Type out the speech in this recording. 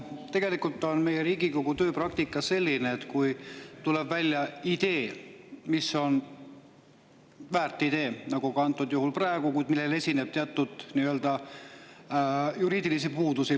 Tegelikult on Riigikogu tööpraktika selline, et kui tuleb välja väärt idee nagu ka praegu, kuid sellel esineb võib-olla teatud juriidilisi puudusi …